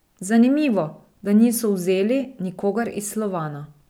Zanimivo, da niso vzeli nikogar iz Slovana.